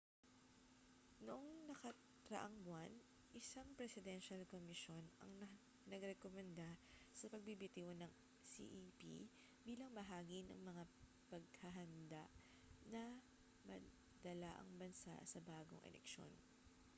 noong nakaraang buwan isang presidensyal komisyon ang nagrekomenda sa pagbibitiw ng cep bilang bahagi ng mga paghahanda na madala ang bansa sa bagong eleksyon